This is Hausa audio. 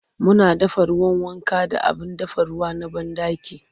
Muna dafa ruwan wanka da abin dafa ruwa na banɗaki.